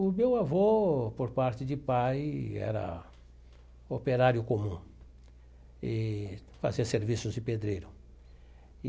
O meu avô, por parte de pai, era operário comum e fazia serviços de pedreiro.